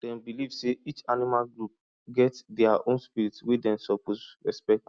dem believe say each animal group get dia own spirit wey dem suppose respect